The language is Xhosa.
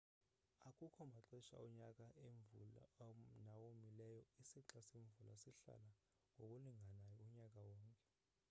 akukho maxesha onyaka emvula nawomileyo isixa semvula sihlala ngokulinganayo unyaka wonke